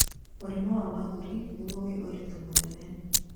mũrimũ wa mahũri nĩguo wĩ ũritũ mũnene.